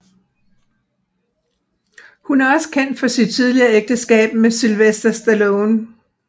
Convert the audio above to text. Hun er også kendt for sit tidligere ægteskab med Sylvester Stallone